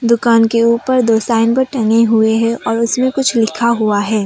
दुकान के ऊपर दो साइन बोर्ड टंगे हुए हैं और उसमें कुछ लिखा हुआ है।